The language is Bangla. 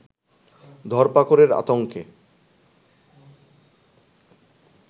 ধরপাকড়ের আতংকে